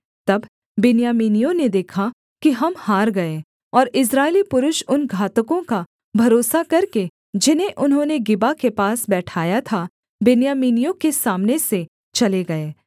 तब बिन्यामीनियों ने देखा कि हम हार गए और इस्राएली पुरुष उन घातकों का भरोसा करके जिन्हें उन्होंने गिबा के पास बैठाया था बिन्यामीनियों के सामने से चले गए